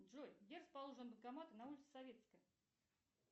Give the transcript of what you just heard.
джой где расположены банкоматы на улице советской